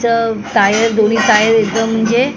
चं दोन्ही टायर एकदम म्हणजे--